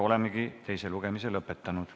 Oleme teise lugemise lõpetanud.